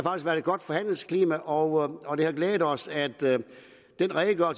været et godt forhandlingsklima og og det har glædet os at